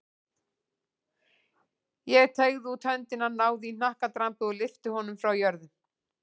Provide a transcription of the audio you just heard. Ég teygði út höndina, náði í hnakkadrambið og lyfti honum frá jörðu.